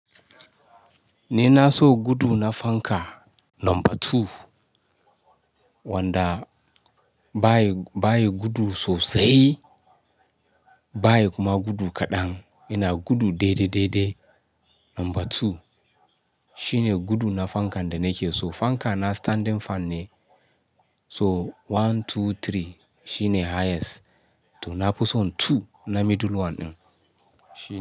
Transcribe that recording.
Ni na so gudu na fanka number two, wanda ba yi, ba yi gudu sosai, ba yi kuma gudu kaɗan. Yana gudu daidai daidai. Number two shine gudu na fankan da nake so. Fanka na standing fan ne. So one, two, three shine highest. To na fi son two na middle one ɗin.